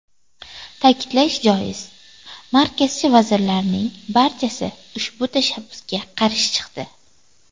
Ta’kidlash joiz, markazchi vazirlarning barchasi ushbu tashabbusga qarshi chiqdi.